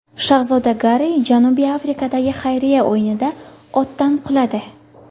Shahzoda Garri Janubiy Afrikadagi xayriya o‘yinida otdan quladi.